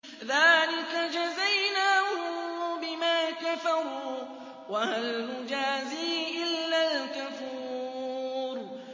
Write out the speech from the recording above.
ذَٰلِكَ جَزَيْنَاهُم بِمَا كَفَرُوا ۖ وَهَلْ نُجَازِي إِلَّا الْكَفُورَ